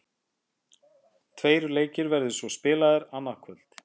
Tveir leikir verða svo spilaðir annað kvöld.